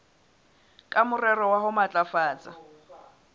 ka morero wa ho matlafatsa